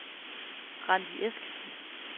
Randi Eskesen